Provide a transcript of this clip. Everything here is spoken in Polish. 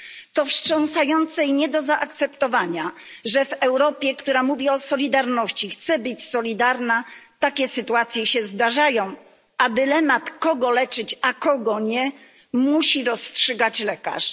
To wstrząsające i nie do zaakceptowania, że w Europie, która mówi o solidarności, chce być solidarna, takie sytuacje się zdarzają, a dylemat, kogo leczyć, a kogo nie, musi rozstrzygać lekarz.